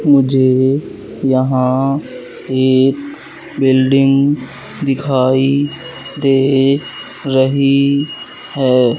मुझे यहां एक बिल्डिंग दिखाई दे रही है।